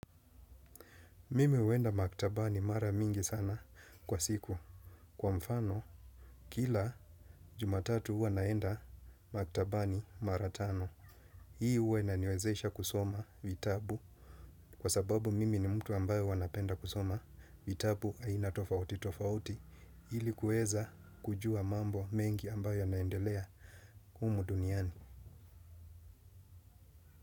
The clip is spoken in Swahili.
Mimi huenda maktabani mara mingi sana kwa siku. Kwa mfano, kila Jumatatu huwa naenda maktabani mara tano. Hii huwa inaniwezesha kusoma vitabu. Kwa sababu mimi ni mtu ambaye huwa napenda kusoma vitabu aina tofauti tofauti. Ili kuweza kujua mambo mengi ambayo yanaendelea humu duniani.